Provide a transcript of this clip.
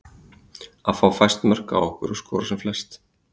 Að fá fæst mörk á okkur og skora sem flest.